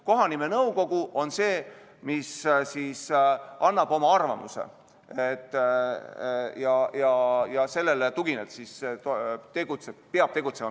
Kohanimenõukogu on see, kes annab oma arvamuse, ja sellele tuginedes peab minister tegutsema.